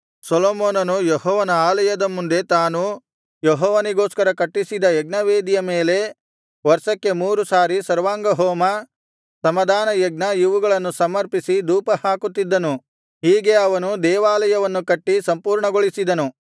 ಸೊಲೊಮೋನನು ಯೆಹೋವನ ಆಲಯದ ಮುಂದೆ ತಾನು ಯೆಹೋವನಿಗೋಸ್ಕರ ಕಟ್ಟಿಸಿದ ಯಜ್ಞವೇದಿಯ ಮೇಲೆ ವರ್ಷಕ್ಕೆ ಮೂರು ಸಾರಿ ಸರ್ವಾಂಗಹೋಮ ಸಮಾಧಾನಯಜ್ಞ ಇವುಗಳನ್ನು ಸಮರ್ಪಿಸಿ ಧೂಪಹಾಕುತ್ತಿದ್ದನು ಹೀಗೆ ಅವನು ದೇವಾಲಯವನ್ನು ಕಟ್ಟಿ ಸಂಪೂರ್ಣಗೊಳಿಸಿದನು